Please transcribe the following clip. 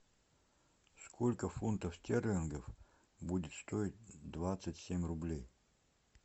сколько фунтов стерлингов будет стоить двадцать семь рублей